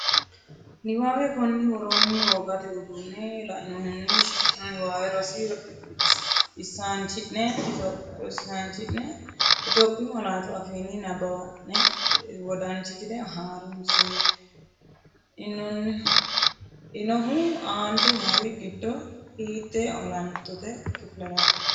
Niwaawe Konni woroonni wogate uduunne lainohunni shiqqino niwaawe rosi isaanchi’ne Itophiyu malaatu afiinni nabbawanna’ne wodanchitine har unse, inohu aante noori giddo hiittee olantote kifileraati?